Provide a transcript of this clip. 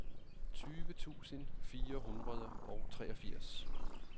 tyve tusind fire hundrede og treogfirs